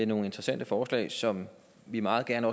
nogle interessante forslag som vi meget gerne